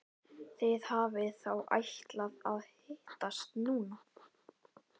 Þið hafið þá ætlað að hittast núna.